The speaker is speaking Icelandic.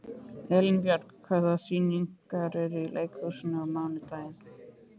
Elínbjörg, hvaða sýningar eru í leikhúsinu á mánudaginn?